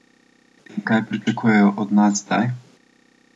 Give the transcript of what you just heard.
In kaj pričakujejo od nas zdaj?